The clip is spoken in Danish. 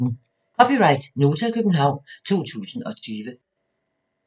(c) Nota, København 2020